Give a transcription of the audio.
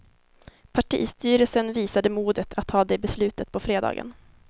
Partistyrelsen visade modet att ta det beslutet på fredagen.